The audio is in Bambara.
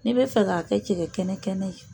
N'i bɛ fɛ k'a kɛ cɛkɛ kɛnɛ kɛnɛ ye.